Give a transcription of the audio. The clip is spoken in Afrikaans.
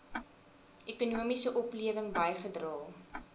ekonomiese oplewing bygedra